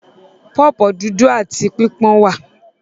Pọ̀pọ́ dúdú áti pípọ́n wà.